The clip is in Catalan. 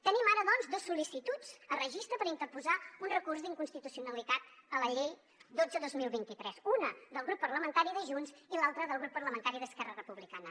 tenim ara doncs dos sol·licituds a registre per interposar un recurs d’inconstitucionalitat a la llei dotze dos mil vint tres una del grup parlamentari de junts i l’altra del grup parlamentari d’esquerra republicana